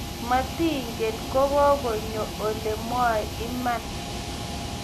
moting'en kang'ong'ony ale mwoei iman.